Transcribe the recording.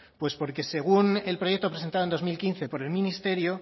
pues porque según el proyecto presentado en dos mil quince por el ministerio